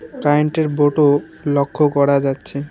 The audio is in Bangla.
কারেন্ট -এর বোর্ড -ও লক্ষ করা যাচ্ছে।